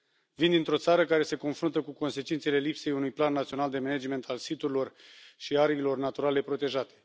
Vin dintr o țară care se confruntă cu consecințele lipsei unui Plan național de management al siturilor și ariilor naturale protejate.